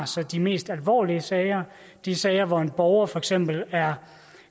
så de mest alvorlige sager de sager hvor en borger for eksempel er